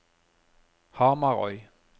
Hamarøy